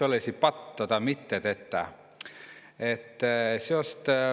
Olõ-ki sjood ammu tennü.